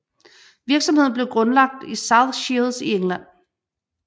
Virksomheden blev grundlagt i South Shields i England